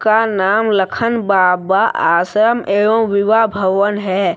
का नाम लखन बाबा आश्रम एवं विवाह भवन है।